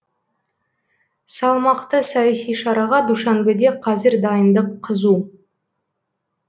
салмақты саяси шараға душанбеде қазір дайындық қызу